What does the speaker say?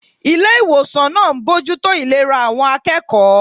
Ilé ìwòsàn náà ń bójú tó ìlera àwọn akẹ́kọ̀ọ́